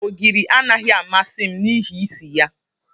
Ogiri anaghị amasị m n'ihi isi ya.